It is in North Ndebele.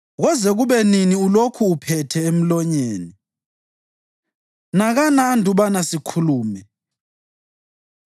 “Koze kube nini ulokhu uphethe emlonyeni? Nakana andubana sikhulume.